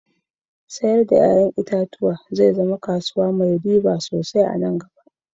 Sayar da ya'yan itatuwa zai zama kasuwa mai riba sosai anan gaba